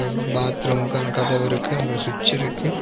இங் பாத்ரூம்க்கான கதவிருகு அங்க சுவிட்ச் இருக்கு.